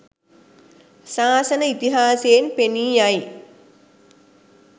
ශාසන ඉතිහාසයෙන් පෙනී යයි.